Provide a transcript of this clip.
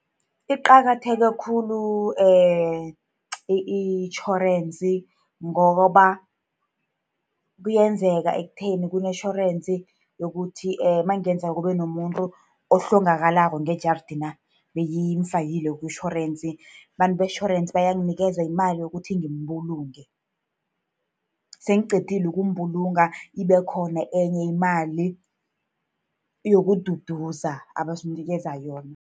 Iqakatheke khulu itjhorensi, ngoba kuyenzeka ekutheni kunetjhorensi yokuthi nakungenzeka kube nomuntu ohlongakalako ngejaridena, bengimfakile kutjhorensi, abantu betjhorensi bayanginikeza imali yokuthi ngimbulunge. Sengiqedile ukumbulunga, ibe khona enye imali yokududuza, abasinikeza yona.